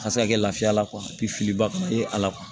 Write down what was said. A ka se ka kɛ lafiya la filiba ka e ala kuwa